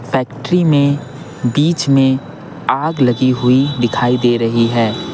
Factory में बीच में आग लगी हुई दिखाई दे रही है।